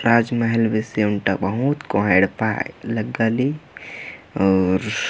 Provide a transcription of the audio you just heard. राजमहल बेसे ओंटा बहुत कोंहा एड़पा लग्गा ली अऊर --